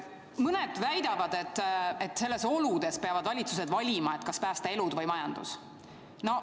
Mõned väidavad, et sellistes oludes peavad valitsused valima, kas päästa elud või majandus.